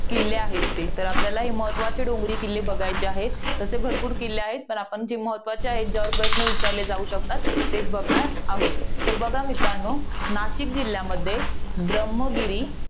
किल्ले आहेत ते. तर आपल्याला हे महत्वाचे डोंगरी किल्ले बघायचे आहेत. तसे भरपूर आहेत. पण आपण जे महत्वाचे आहेत, ज्याच्यावर प्रश्न विचारले जाऊ शकतात. तेच बघणार आहोत. तर बघा मित्रांनो, नाशिक जिल्ह्यामध्ये, ब्रम्हगिरी